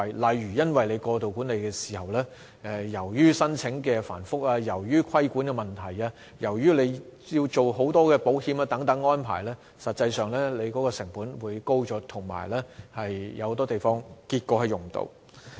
例如，因為政府過度管理，申請場地手續會更繁複、有規管問題，以及要處理很多保險等行政安排，管理成本便會因而增加，有很多地方並且會最終無法使用。